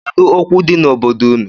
Kedu okwu di n’obodo unu?